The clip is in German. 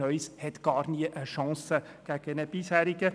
Neues hat gar nie eine Chance gegen einen Bisherigen.